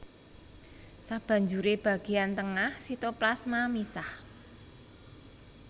Sabanjuré bagéyan tengah sitoplasma misah